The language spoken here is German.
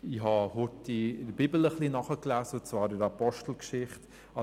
Ich habe kurz in der Bibel, in der Apostelgeschichte, nachgelesen.